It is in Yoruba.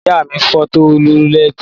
Ìyá mi fọ́ Tọlú lẹ́tí.